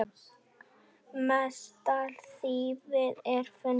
Mestallt þýfið er fundið.